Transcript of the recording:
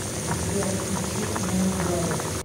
сбер включи мунглоу